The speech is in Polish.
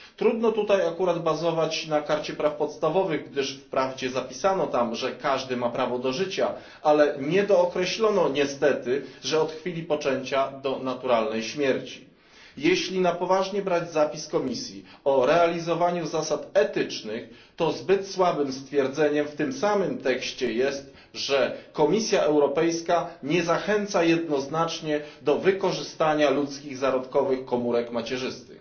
Trudno tutaj bazować na karcie praw podstawowych, gdyż wprawdzie zapisano tam, że każdy ma prawo do życia, ale nie dookreślono niestety, że od chwili poczęcia do naturalnej śmierci. Jeśli na poważnie brać zapis Komisji o realizowaniu zasad etycznych, to zbyt słabym stwierdzeniem w tym samym tekście jest, że Komisja Europejska nie zachęca jednoznacznie do wykorzystania ludzkich zarodkowych komórek macierzystych.